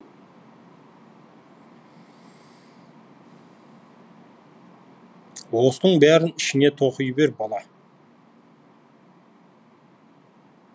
осының бәрін ішіңе тоқи бер бала